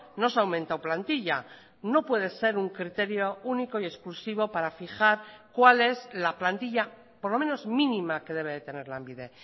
no se ha aumentado plantilla no puede ser un criterio único y exclusivo para fijar cuál es la plantilla por lo menos mínima que debe de tener lanbide